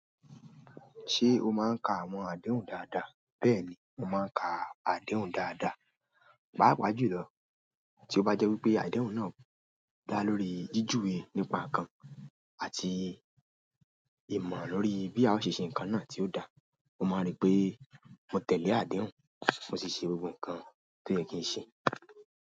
Ṣé o máa ń ka àwọn àdéhùn dáadáa? Bẹ́ẹ̀ni, mo máa ń ka àdéhùn dáadáa, pàápàá jùlọ tí ó bá jẹ́ wípé àdéhùn náà dá lórí jíjùwe nípa nǹkan àti ìmọ̀ lórí bí a ṣe ṣe ǹkan náà tí ó da. Mo máa rí pé mo tẹ̀lé àdéhùn, mo sì ṣe gbogbo ǹkan tó yẹ kí n ṣe.